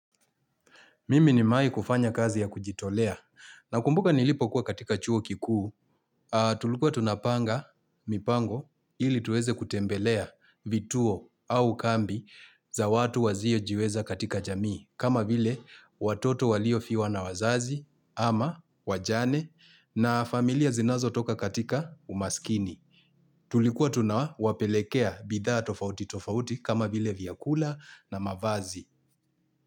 Mimi nimewai kufanya kazi ya kujitolea. Na kumbuka nilipo kuwa katika chuo kikuu, tulikuwa tunapanga mipango ili tuweze kutembelea vituo au kambi za watu wazio jiweza katika jamii. Kama vile watoto walio fiwa na wazazi ama wajane na familia zinazo toka katika umaskini. Tulikuwa tunawa wapelekea bidhaa tofauti tofauti kama vile vyakula na mavazi.